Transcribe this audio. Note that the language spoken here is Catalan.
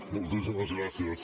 moltíssimes gràcies